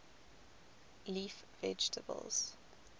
leaf vegetables